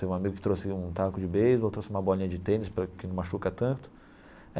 Teve um amigo que trouxe um taco de beisebol, trouxe uma bolinha de tênis para que não machuca tanto.